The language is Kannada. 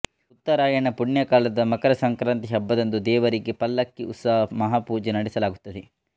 ಉತ್ತರಾಯಣ ಪುಣ್ಯಕಾಲದ ಮಕರ ಸಂಕ್ರಾಂತಿ ಹಬ್ಬದಂದು ದೇವರಿಗೆ ಪಲ್ಲಕ್ಕಿ ಉತ್ಸವ ಮಹಾ ಪೂಜೆ ನಡೆಸಲಾಗುತ್ತದೆ